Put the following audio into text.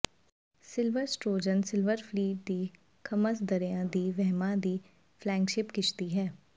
silver Sturgeon Silver Fleet ਦੀ Thames ਦਰਿਆ ਦੀਆਂ ਵਹਿਮਾਂ ਦੀ ਫਲੈਗਸ਼ਿਪ ਕਿਸ਼ਤੀ ਹੈ